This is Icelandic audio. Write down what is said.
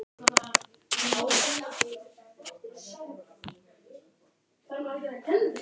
Félagið gerði leigusamning við hitaveituna með kauprétti ef vel gengi.